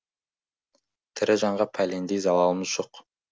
тірі жанға пәлендей залалымыз жоқ